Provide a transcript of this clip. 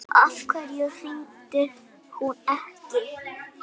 Af hverju hringdi hún ekki?